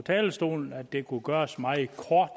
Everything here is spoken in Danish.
talerstolen at det kunne gøres meget kort